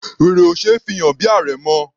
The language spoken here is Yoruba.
Wèrè ò ṣe é fi hàn bí àrẹ̀mọ.